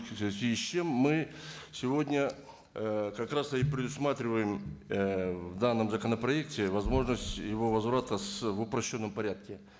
в связи с чем мы сегодня ыыы как раз и предусматриваем ыыы в данном законопроекте возможность его возврата в упрощенном порядке